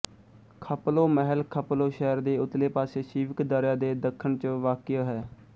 ਖ਼ਪਲੋ ਮਹਿਲ ਖ਼ਪਲੋ ਸ਼ਹਿਰ ਦੇ ਉਤਲੇ ਪਾਸੇ ਸ਼ੀਵਕ ਦਰਿਆ ਦੇ ਦੱਖਣ ਚ ਵਾਕਿਅ ਹੈ